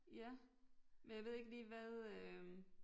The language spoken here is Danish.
Ja men jeg ved ikke lige hvad øh